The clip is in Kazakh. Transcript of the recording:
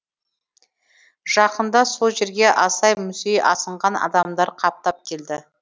жақында сол жерге асай мүсей асынған адамдар қаптап келді